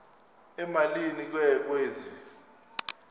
emalini ke kwezi